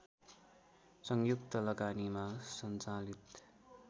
संयुक्त लगानीमा सञ्चालित